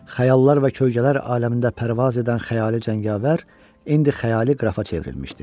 Xəyallar və kölgələr aləmində pərvaz edən xəyali cəngavər indi xəyali qrafa çevrilmişdi.